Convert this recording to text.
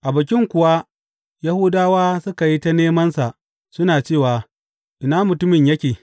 A Bikin kuwa, Yahudawa suka yi ta nemansa, suna cewa, Ina mutumin yake?